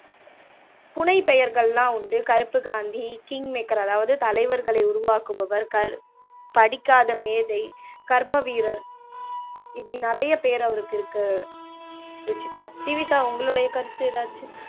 புனைப்பெயர்கள் எல்லாம் உண்டு கருப்பு காந்தி, king maker, அதாவது தலைவர்களை உருவாக்குபவர், கர் படிக்காத மேதை, கர்ம வீரர், இப்படி நிறைய பேர் அவருக்கு இருக்கு ருஷிதா ஜீவிதா உங்களுடைய கருத்து எதாச்சும்